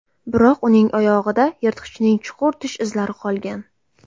Biroq uning oyog‘ida yirtqichning chuqur tish izlari qolgan.